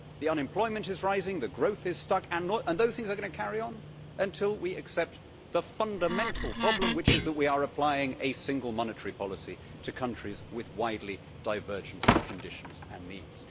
Unemployment is rising, growth is stuck, and those things are going to carry on until we accept that the fundamental problem is that we are applying a single monetary policy to countries with widely divergent conditions and needs.